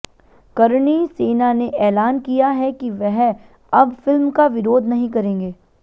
करणी सेना ने ऐलान किया है कि वह अब फिल्म का विरोध नहीं करेंगे